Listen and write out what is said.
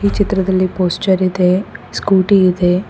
ಚಿತ್ರದಲ್ಲಿ ಪೋಶ್ಚರ್ ಇದೆ ಸ್ಕೂಟಿ ಇದೆ.